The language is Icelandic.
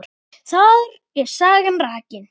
Þar er sagan rakin.